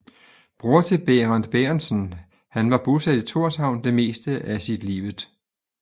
Bror til Bærent Bærentsen Han var bosat i Tórshavn det meste af sit livet